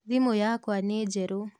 Thimũ yakwa nĩ njerũ.